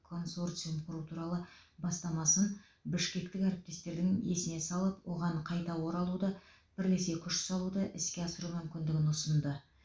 консорциум құру туралы бастамасын бішкектік әріптестердің есіне салып оған қайта оралуды бірлесе күш салуды іске асыру мүмкіндігін ұсынды